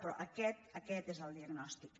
però aquest aquest és el diagnòstic